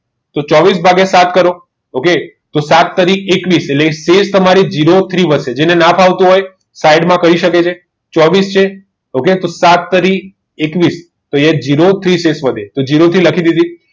કે ચોવીસ ભાગીય સાત કરો okay તો સાત તારી એકવીસ તેજ તમારી zero three વાચ્ચે છે જેને ના ફાવતું હોય સાઇડ માં કઈ સકે છે ચોવીસ છે તો સાત તારી એકવીસ તો અહી zero થી